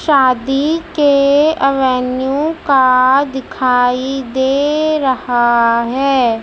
शादी के एवेन्यू का दिखाई दे रहा है।